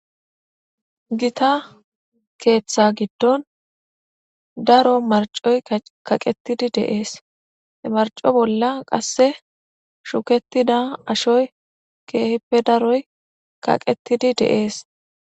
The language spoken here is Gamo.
Gita keeththa giddon daro marcoy kaqetidi de7ees he marco bolla qasse shukettida ashoy keehippe daroy kaqettidi de7ees.